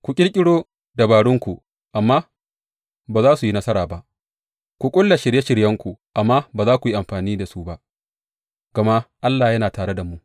Ku ƙirƙiro dabarunku, amma ba za su yi nasara ba; ku ƙulla shirye shiryenku, amma ba za su yi amfani ba, gama Allah yana tare da mu.